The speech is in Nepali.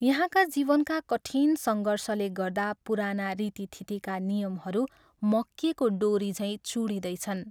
यहाँका जीवनका कठिन सङ्घर्षले गर्दा पुराना रीतिथितीका नियमहरू मकिएको डोरीझैँ चुँडिदैछन्।